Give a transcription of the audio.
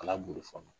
Ala b'o fɔ